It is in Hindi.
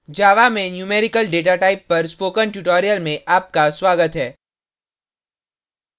java में numerical डेटाटाइप पर spoken tutorial में आपका स्वागत है